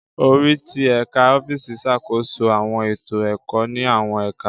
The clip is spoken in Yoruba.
Orí ti Ẹka ọfiisi ṣàkóso awọn eto ẹkọ ni awọn ẹka.